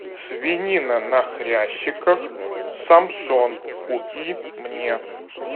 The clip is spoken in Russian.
свинина на хрящиках самсон купи мне